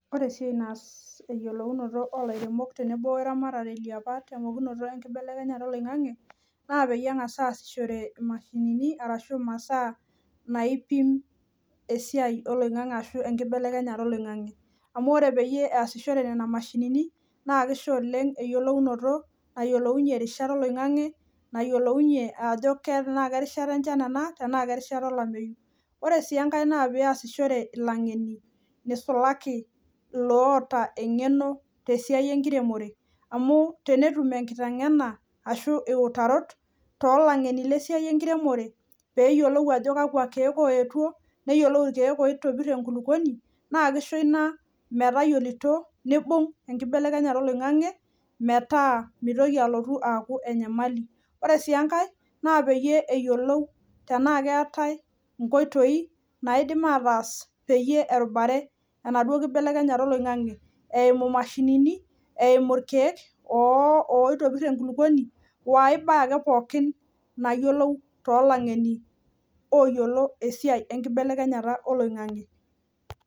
Ore esiai naas eyiolounoto olairemok tenebo we ramati eapa temokunoto enkibelekenyata olingange naa peyie engas aasihore imashinini ashu imasaa naipim esiai olingange ashu enkbelekenyata olingange amu ore peasishore nena mashinini naa kisho oleng eyiolounoto nayiolounyie irishat oloingange , nayiolounyie tenaa kerishta enchan ena tenaa kerishata olemeyu . Ore sii enkae naa peasihoreki , nisulaki iloota engeno tialo esiai enkiremore amu tenetum enkitengena ashu iutarot tolangeni lesiai enkiremore peyiolou ajo kakwa kiek oetuo ,neyiolou irkiek oitobir enkulukuoni , naa kisho ina metayiolito , nibung enkibelekenyata oloingange , metaa ,mitoki alotu aaku enyamali.